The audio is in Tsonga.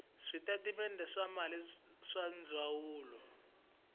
switatimende swa timali swa ndzawulo